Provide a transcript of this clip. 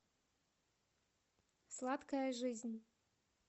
сладкая жизнь